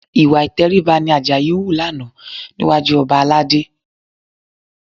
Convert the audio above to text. Ìwà ìtẹríba ni Àjàyí hù lánàá níwájú ọba Aládé